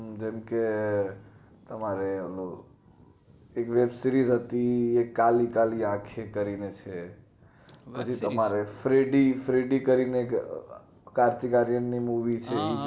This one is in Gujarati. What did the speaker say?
હમ જેમ કે તમારે યે રતી યે કાલી કાલી આંખે કરીને છે પછી તમારે થ્રેડી થ્રેડી કરીને એક કાર્તિક આર્યન નું movie છે